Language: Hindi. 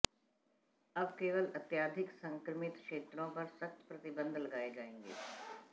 अब केवल अत्यधिक संक्रमित क्षेत्रों पर सख्त प्रतिबंध लगाए जाएंगे